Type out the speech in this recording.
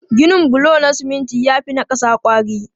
Ginin bulo na siminti ya fi na ƙasa kwari.